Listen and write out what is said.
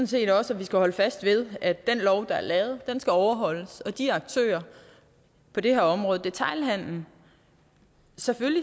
set også at vi skal holde fast ved at den lov der er lavet skal overholdes og de aktører på det her område detailhandelen